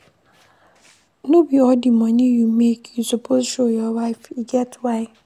No be all di moni you make you suppose show your wife, e get why.